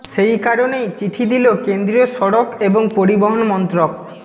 সেই কারণেই চিঠি দিল কেন্দ্রীয় সড়ক এবং পরিবহণ মন্ত্রক